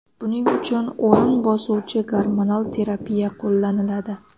Buning uchun o‘rin bosuvchi gormonal terapiya qo‘llaniladi.